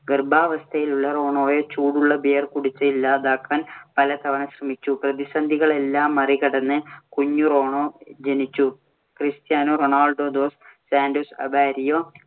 ഗർഭാവസ്ഥയിലുള്ള റോണോയെ ചൂടുള്ള Beer കുടിച്ച് ഇല്ലാതാക്കാൻ പലതവണ ശ്രമിച്ചു. പ്രതിസന്ധി കളെയെല്ലാം മറികടന്ന് കുഞ്ഞു റോണോ ജനിച്ചു. Cristiano Ronaldo dos Santos Aveiro